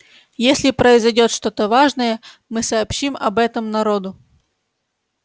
если произойдёт что-то важное мы сообщим об этом народу